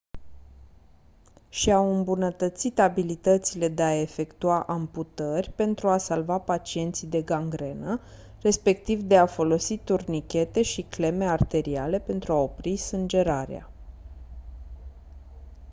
și-au îmbunătățit abilitățile de a efectua amputări pentru a salva pacienții de gangrenă respectiv de a folosi turnichete și cleme arteriale pentru a opri sângerarea